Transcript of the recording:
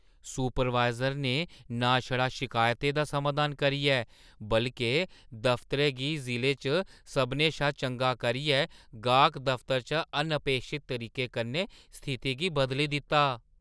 Supervisor ने ना छड़ा शिकायतें दा समाधान करियै बल्के दफतरै गी जिले च सभनें शा चंगा करियै गाह्‌क दफतरै च अनअपेक्षत तरीके कन्नै स्थिति गी बदली दित्ता।